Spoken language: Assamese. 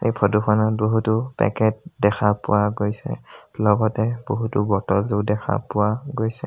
ফটো খনত বহুতো পেকেট দেখা পোৱা গৈছে লগতে বহুতো বটল ও দেখা পোৱা গৈছে।